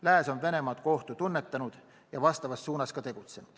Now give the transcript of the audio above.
Lääs on Venemaad kui ohtu tunnetanud ja vastavas suunas tegutsenud.